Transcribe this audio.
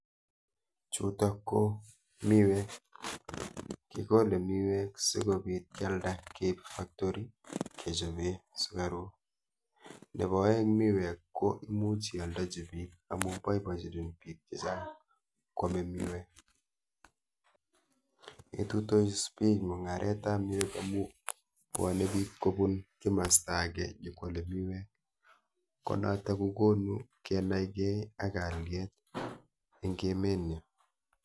Chutok ko miwek. Kikole miwek sikobit kyalda keip factory kechope sukaruk nepo oeng miwek ko imuch ioldochi biik amu boibochin biik chechang kwome miwek. Ituitos bich mung'aretap miwek amu bwone biik kobun kimaswek ake nyikwole miwek ko noto kokonu kenaikei ak kalyet eng emenyo.